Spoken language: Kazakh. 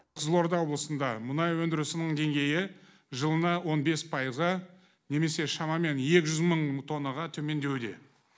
қызылорда облысында мұнай өндірісінің деңгейі жылына он бес пайызға немесе шамамен екі жүз мың тоннаға төмендеуде